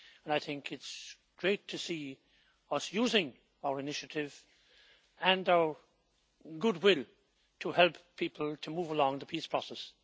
I think it is great to see us using our initiative and our goodwill to help people move along with the peace process.